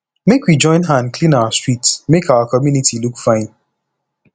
make we join hand clean our street make our community look fine